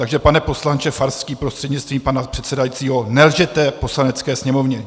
Takže pane poslanče Farský prostřednictvím pana předsedajícího, nelžete Poslanecké sněmovně!